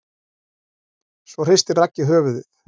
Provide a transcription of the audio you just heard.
Svo hristir Raggi höfuðið.